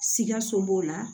Sikaso b'o la